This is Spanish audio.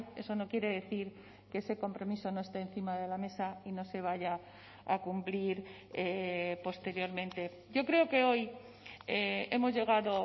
eso no quiere decir que ese compromiso no está encima de la mesa y no se vaya a cumplir posteriormente yo creo que hoy hemos llegado